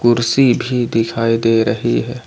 कुर्सी भी दिखाई दे रही है ।